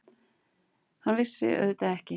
Hann vissi það auðvitað ekki.